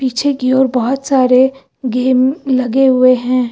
पीछे की ओर बहुत सारे गेम लगे हुए हैं।